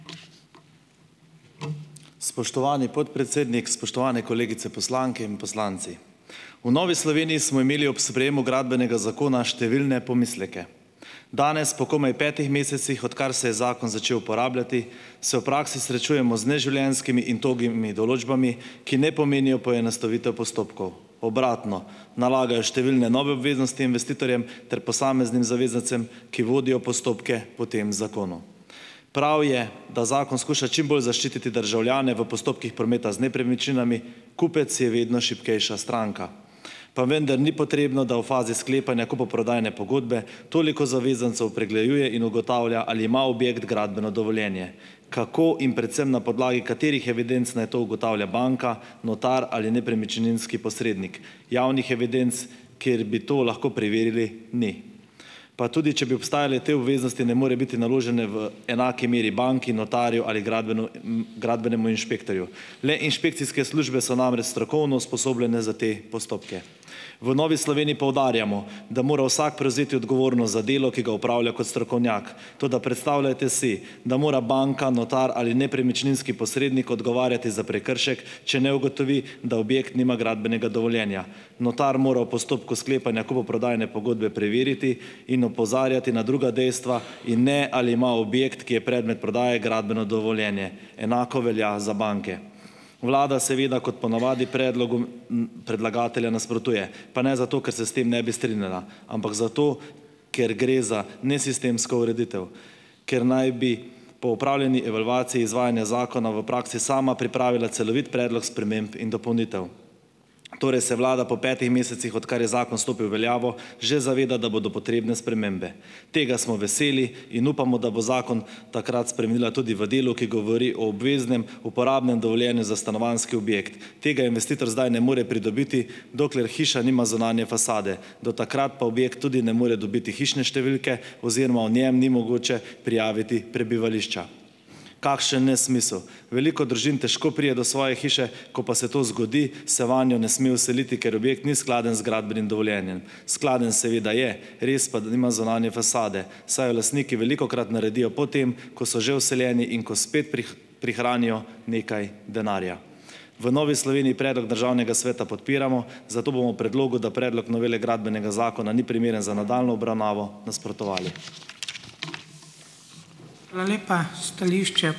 Spoštovani podpredsednik, spoštovane kolegice poslanke in poslanci. V Novi Sloveniji smo imeli ob sprejemu Gradbenega zakona številne pomisleke. Danes po komaj petih mesecih, odkar se je zakon začel uporabljati, se v praksi srečujemo z neživljenjskimi in togimi določbami, ki ne pomenijo poenostavitev postopkov. Obratno, nalagajo številne nove obveznosti investitorjem ter posameznim zavezancem, ki vodijo postopke po tem zakonu. Prav je, da zakon skuša čim bolj zaščititi državljane v postopkih prometa z nepremičninami. Kupec je vedno šibkejša stranka. Pa vendar ni potrebno, da v fazi sklepanja kupoprodajne pogodbe toliko zavezancev pregleduje in ugotavlja, ali ima objekt gradbeno dovoljenje. Kako in predvsem na podlagi katerih evidenc naj to ugotavlja banka, notar ali nepremičninski posrednik. Javnih evidenc, kjer bi to lahko preverili, ni. Pa tudi če bi obstajale, te obveznosti ne morejo biti naložene v enaki meri banki, notarju ali gradbenemu inšpektorju. Le inšpekcijske službe so namreč strokovno usposobljene za te postopke. V Novi Sloveniji poudarjamo, da mora vsak prevzeti odgovornost za delo, ki ga opravlja kot strokovnjak, toda predstavljajte si, da mora banka, notar ali nepremičninski posrednik odgovarjati za prekršek, če ne ugotovi, da objekt nima gradbenega dovoljenja. Notar mora v postopku sklepanja kupoprodajne pogodbe preveriti in opozarjati na druga dejstva in ne, ali ima objekt, ki je predmet prodaje, gradbeno dovoljenje. Enako velja za banke. Vlada seveda kot po navadi predlogom, predlagatelja nasprotuje, pa ne zato, ker se s tem ne bi strinjala, ampak zato, ker gre za nesistemsko ureditev, ker naj bi po opravljeni evalvaciji izvajanja zakona v praksi sama pripravila celovit predlog sprememb in dopolnitev. Torej se vlada po petih mesecih, odkar je zakon stopil v veljavo, že zaveda, da bodo potrebne spremembe. Tega smo veseli in upamo, da bo zakon takrat spremenila tudi v delu, ki govori o obveznem uporabnem dovoljenju za stanovanjski objekt. Tega investitor zdaj ne more pridobiti, dokler hiša nima zunanje fasade. Do takrat pa objekt tudi ne more dobiti hišne številke oziroma v njem ni mogoče prijaviti prebivališča. Kakšen nesmisel. Veliko družin težko pride do svoje hiše, ko pa se to zgodi, se vanjo ne sme vseliti, ker objekt ni skladen z gradbenim dovoljenjem. Skladen seveda je, res pa, da nima zunanje fasade, saj jo lastniki velikokrat naredijo po tem, ko so že vseljeni in ko spet prihranijo nekaj denarja. V Novi Sloveniji predlog Državnega sveta podpiramo, zato bomo predlogu, da Predlog novele Gradbenega zakona ni primeren za nadaljnjo obravnavo, nasprotovali.